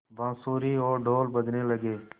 बाँसुरी और ढ़ोल बजने लगे